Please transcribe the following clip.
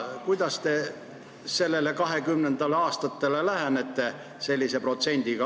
Kuidas te 2020. aastale seda protsenti silmas pidades lähenete?